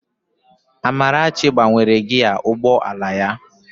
Amarachi gbanwere gịaa ụgbọ ala ya